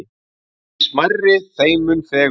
Því smærri þeim mun fegurri.